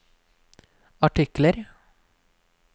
artikler